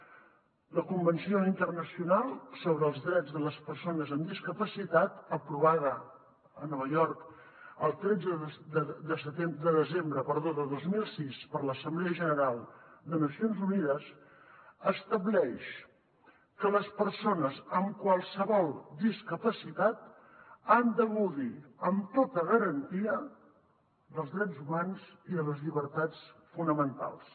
la convenció internacional sobre els drets de les persones amb discapacitat aprovada a nova york el tretze de desembre de dos mil sis per l’assemblea general de nacions unides estableix que les persones amb qualsevol discapacitat han de gaudir amb tota garantia dels drets humans i de les llibertats fonamentals